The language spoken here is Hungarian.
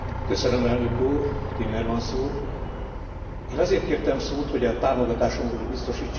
Én azért kértem szót, hogy a támogatásomról biztosítsam az Európai Néppárt alternatív javaslatát.